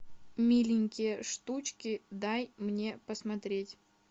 миленькие штучки дай мне посмотреть